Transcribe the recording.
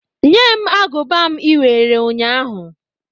Nye m agụba m iwere nnya ahụ!